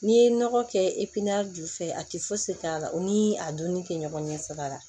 N'i ye nɔgɔ kɛ ju fɛ a tɛ fosi k'a la u ni a dunni kɛ ɲɔgɔn ɲɛ saba la